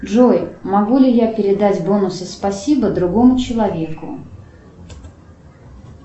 джой могу ли я передать бонусы спасибо другому человеку